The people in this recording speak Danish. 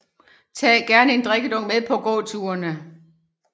Tag gerne en drikkedunk med på gåturene